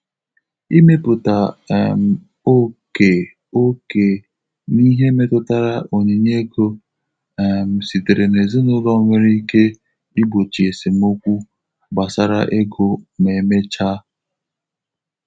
Ịmepụta um ókè ókè n'ihe metụtara onyinye ego um sitere n'ezinụlọ nwere ike igbochi esemokwu gbasara ego ma emechaa. um